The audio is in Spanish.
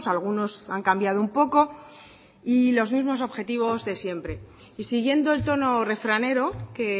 algunos han cambiado un poco y los mismos objetivos de siempre y siguiendo el tono refranero que